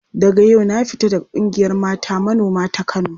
Daga yau na fita daga ƙungiyar mata manoma ta Kano.